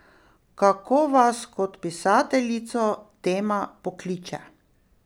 Kako vas kot pisateljico tema pokliče?